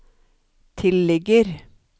tilligger